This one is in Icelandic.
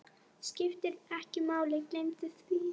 Skiptir ekki máli, gleymdu því.